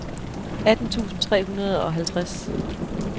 atten tusind tre hundrede og halvtreds